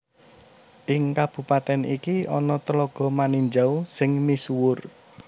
Ing kabupatèn iki ana Tlaga Maninjau sing misuwur